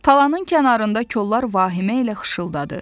Talanın kənarında kollar vahimə ilə xışıldadı.